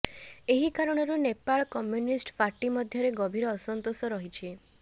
ଏହି କାରଣରୁ Nepal communist party ମଧ୍ୟରେ ଗଭୀର ଅସନ୍ତୋଷ ରହିଛି